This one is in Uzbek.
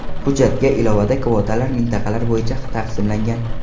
Hujjatga ilovada kvotalar mintaqalar bo‘yicha taqsimlangan.